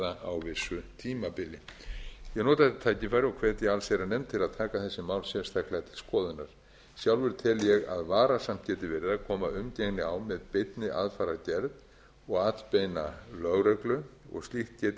á vissu tímabili ég vil nota þetta tækifæri og hvetja allsherjarnefnd til að taka þessi mál sérstaklega til skoðunar sjálfur tel ég að varasamt geti verið að koma umgengni á með beinni aðfarargerð og atbeina lögreglu og slíkt geti